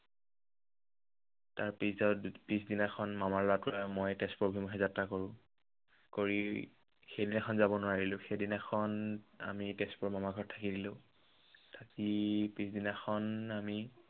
তাৰ পিছত পিছদিনাখন মামাৰ লৰাটো আৰু মই তেজপুৰ অভিমুখে যাত্ৰা কৰো। কৰি সেইদিনাখন যাব নোৱাৰিলো। সেইদিনাখন আমি তেজপুৰৰ মামাৰ ঘৰত থাকি দিলো। থাকি পিছদিনাখন আমি